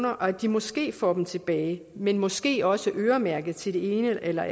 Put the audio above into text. og at de måske får dem tilbage men måske også øremærket til det ene eller